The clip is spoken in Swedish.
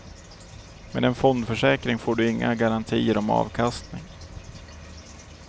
Med en fondförsäkring får du inga garantier om avkastning.